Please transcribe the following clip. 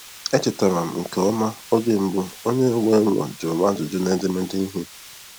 Echetara m nke ọma oge mbụ onye nwe ụlọ jụrụ m ajụjụ na edemede ihe.